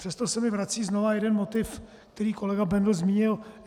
Přesto se mi vrací znova jeden motiv, který kolega Bendl zmínil.